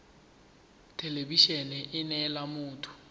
thelebi ene e neela motho